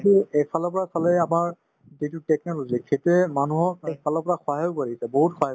কিন্তু এইফালৰ পৰা চালে আমাৰ যিটো technology সিটোয়ে মানুহক পিছফালৰ পৰা সহায়ো কৰিছে বহুত সহায়